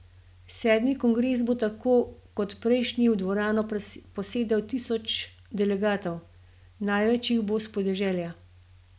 Sedmi kongres bo tako kot prejšnji v dvorano posedel tisoč delegatov, največ jih bo s podeželja.